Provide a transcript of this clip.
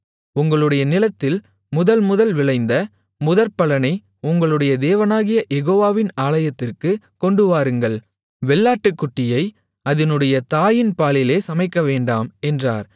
உங்களுடைய நிலத்தில் முதல் முதல் விளைந்த முதற்பலனை உங்களுடைய தேவனாகிய யெகோவாவின் ஆலயத்திற்குக் கொண்டுவாருங்கள் வெள்ளாட்டுக்குட்டியை அதினுடைய தாயின் பாலிலே சமைக்கவேண்டாம் என்றார்